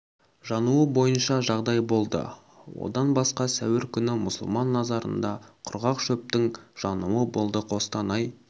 жануы бойынша жағдай болды одаң басқа сәуір күні мұсылман мазарында құрғақ шөптің жануы болды қостанай